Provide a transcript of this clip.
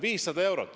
500 eurot.